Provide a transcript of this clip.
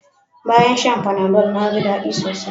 Bayan shan Panadol na ji daɗi sosai